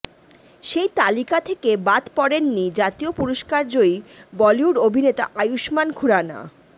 সেই তালিকা থেকে বাদ পড়েননি জাতীয় পুরস্কার জয়ী বলিউড অভিনেতা আয়ুস্মান খুরানা